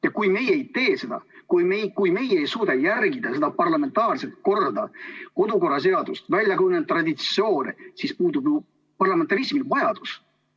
Ja kui me ei tee seda, kui me ei suuda järgida seda parlamentaarset korda, kodukorraseadust, väljakujunenud traditsioone, siis puudub parlamentarismi järele vajadus.